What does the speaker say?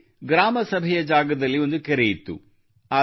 ಅಲ್ಲಿ ಗ್ರಾಮ ಸಭೆಯ ಜಾಗದಲ್ಲಿ ಒಂದು ಕೆರೆ ಇತ್ತು